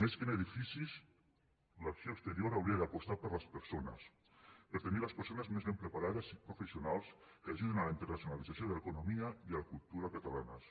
més que en edificis l’acció exterior hauria d’apostar per les persones per tenir les persones més ben preparades i professionals que ajudin a la internacionalització de l’economia i la cultura catalanes